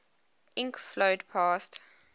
ink flowed past